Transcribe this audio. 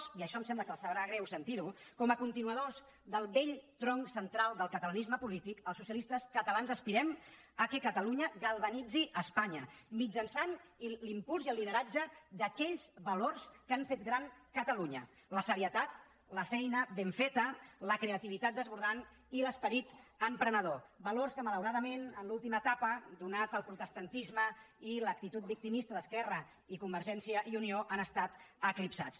i això em sembla que els sabrà greu sentir ho com a continuadors del vell tronc central del catalanisme polític els socialistes catalans aspirem al fet que catalunya galvanitzi espanya mitjançant l’impuls i el lideratge d’aquells valors que han fet gran catalunya la serietat la feina ben feta la creativitat desbordant i l’esperit emprenedor valors que malauradament en l’última etapa atès el protestantisme i l’actitud victimista d’esquerra i convergència i unió han estat eclipsats